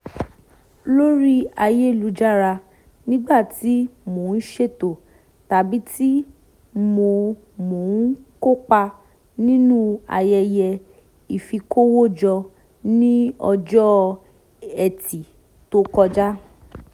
lórí ayélujára nígbà tí mo ń ṣètò tàbí tí mo mo ń kópa nínú ayẹyẹ ìfikówójọ ní ọjọ́ ẹtì tó kọjá